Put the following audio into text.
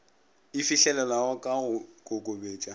e fihlelelwago ka go kokobetša